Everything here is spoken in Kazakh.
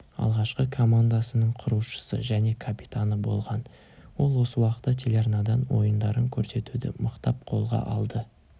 алғашқы командасының құрушысы және капитаны болған ол осы уақытта телеарнадан ойындарын көрсетуді мықтап қолға алды